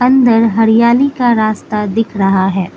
इधर हरियाली का रास्ता दिख रहा है।